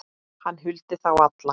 Hann huldi þá alla